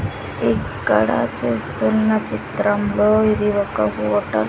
ఇక్కడ చూస్తున్న చిత్రంలో ఇది ఒక హోటల్ .